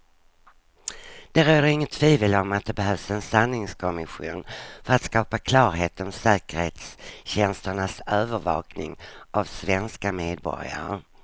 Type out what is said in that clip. Det råder inget tvivel om att det behövs en sanningskommission för att skapa klarhet om säkerhetstjänsternas övervakning av svenska medborgare.